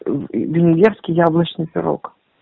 венгерский яблочный пирог